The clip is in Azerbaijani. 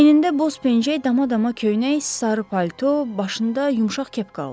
Əynində boz pəncəy, dama-dama köynək, sarı palto, başında yumşaq kepka olub.